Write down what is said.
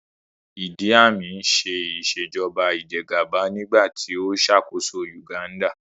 Ìdí Àmín ń ṣe Ìṣèjọ́ba ìjẹ́gàba nígbà tí ó ṣàkóso Uganda